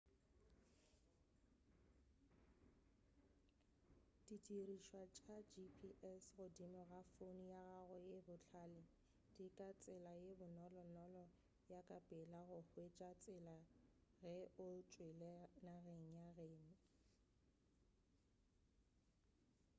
di dirišwa tša gps godimo ga founo ya gago ye bohlale di ka tsela ye bonolonolo ya ka pela go hwetša tsela ge o tšwele nageng ya geno